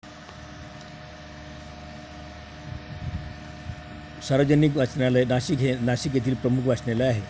सार्वजनिक वाचनालय नाशिक, हे नाशिक येथील प्रमुख वाचनालय आहे.